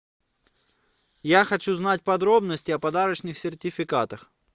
я хочу знать подробности о подарочных сертификатах